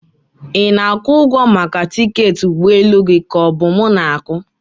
Ị na-akwụ ụgwọ maka tiketi ụgbọ elu gị ka ọ bụ mu ga-akwụ?